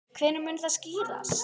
Hvenær mun það skýrast?